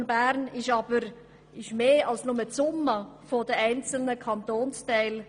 Der Kanton Bern ist aber mehr als nur die Summe der einzelnen Kantonsteile.